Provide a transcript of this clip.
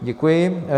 Děkuji.